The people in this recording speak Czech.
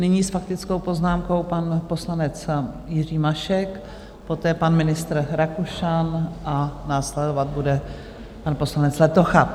Nyní s faktickou poznámkou pan poslanec Jiří Mašek, poté pan ministr Rakušan a následovat bude pan poslanec Letocha.